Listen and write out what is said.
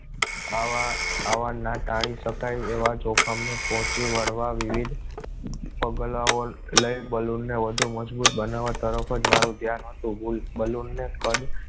આવા આવા ના ટાળી શકાય એવા જોખમ ને પહોંચી વળવા વિવિધ પગલાઓ લઇ બલૂ ને વધુ મજબૂત બનાવવા તરફ મારું ધ્યાન હતું balloon